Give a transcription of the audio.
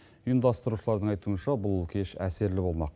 ұйымдастырушылардың айтуынша бұл кеш әсерлі болмақ